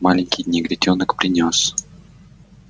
маленький негритёнок принёс